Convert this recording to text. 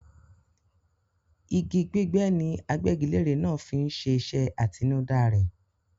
Igi gbígbẹ ni agbẹ́gilére náà fí ń ṣe iṣẹ́ àtinudá rẹ̀.